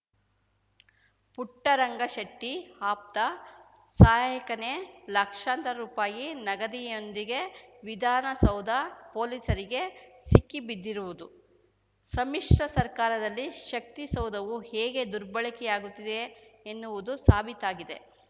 ಪುಟ್ಟರಂಗ ಶೆಟ್ಟಿಆಪ್ತ ಸಹಾಯಕನೇ ಲಕ್ಷಾಂತರ ರುಪಾಯಿ ನಗದಿಯೊಂದಿಗೆ ವಿಧಾನಸೌಧ ಪೊಲೀಸರಿಗೆ ಸಿಕ್ಕಿಬಿದ್ದಿರುವುದು ಸಮ್ಮಿಶ್ರ ಸರ್ಕಾರದಲ್ಲಿ ಶಕ್ತಿಸೌಧವು ಹೇಗೆ ದುರ್ಬಳಕೆಯಾಗುತ್ತಿದೆ ಎನ್ನುವುದು ಸಾಬೀತಾಗಿದೆ